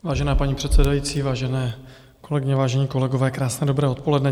Vážená paní předsedající, vážené kolegyně, vážení kolegové, krásné dobré odpoledne.